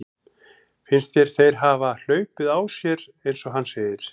Finnst þér þeir hafa hlaupið á sér eins og hann segir?